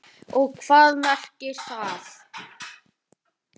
Og hvað merkir það?